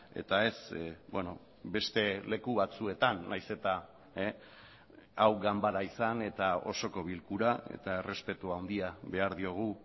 eta ez beste leku batzuetan nahiz eta hau ganbara izan eta osoko bilkura eta errespetu handia behar diogu